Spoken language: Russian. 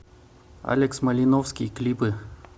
алекс малиновский клипы